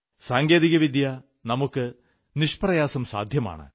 സാങ്കേതികവിദ്യ നമുക്ക് നിഷ്പ്രയാസം സാധ്യമാണ്